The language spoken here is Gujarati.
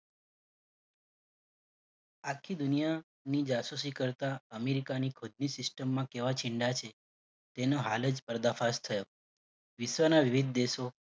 આખી દુનિયાની જાસૂસી કરતા અમેરિકાની ખુદની system માં કેવા છે તેનો હાલ જ પર્દાફાશ થયો. વિશ્વના વિવિધ દેશો